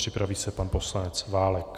Připraví se pan poslanec Válek.